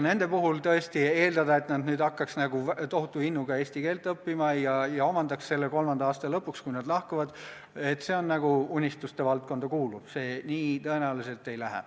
Nende puhul tõesti eeldada, et nad hakkaks nüüd tohutu innuga eesti keelt õppima ja omandaks selle kolmanda aasta lõpuks, kui nad lahkuvad – see on nagu unistuste valdkonda kuuluv, nii see tõenäoliselt ei lähe.